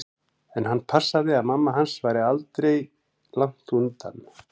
En hann passaði að mamma hans væri aldri langt undan.